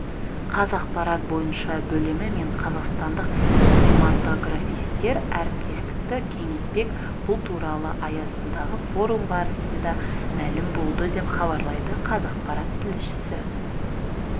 қазақпарат бойынша бөлімі мен қазақстандық кинематографистер әріптестікті кеңейтпек бұл туралы аясындағы форум барысында мәлім болды деп хабарлайды қазақпарат тілшісі